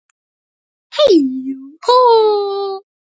Bráðum kemur birtan hlý.